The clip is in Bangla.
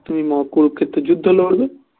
তুমি কুরুক্ষেত্রের যুদ্ধ লড়বে